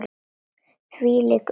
Þvílíkt uppnám.